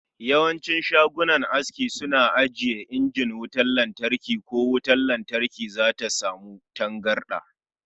Yawancin shagunan aski suna ajiye injin wutar latarki ko da wutar lantarki zata samu tangarda.